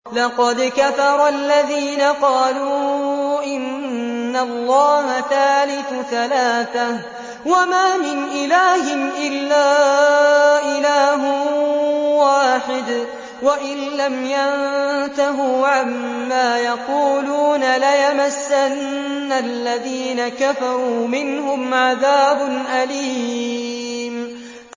لَّقَدْ كَفَرَ الَّذِينَ قَالُوا إِنَّ اللَّهَ ثَالِثُ ثَلَاثَةٍ ۘ وَمَا مِنْ إِلَٰهٍ إِلَّا إِلَٰهٌ وَاحِدٌ ۚ وَإِن لَّمْ يَنتَهُوا عَمَّا يَقُولُونَ لَيَمَسَّنَّ الَّذِينَ كَفَرُوا مِنْهُمْ عَذَابٌ أَلِيمٌ